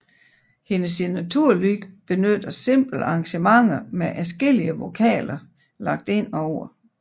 Hendes signaturlyd benytter simple arrangementer med adskillige vokaler lagt ind over